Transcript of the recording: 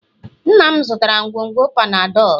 nna m zụtara ngwugwu Panadol